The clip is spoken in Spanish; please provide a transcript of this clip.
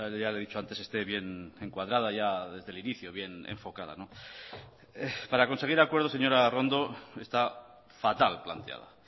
ya le he dicho antes esté bien encuadrada ya desde el inicio bien enfocada para conseguir acuerdo señora arrondo está fatal planteada